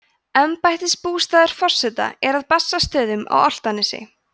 embættisbústaður forseta er að bessastöðum á álftanesi